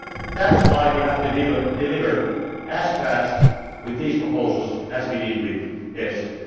That is why we have to deliver as fast with these proposals as we did with EFSI.